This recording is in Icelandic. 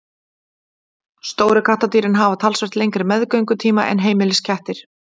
Stóru kattardýrin hafa talsvert lengri meðgöngutíma en heimiliskettir.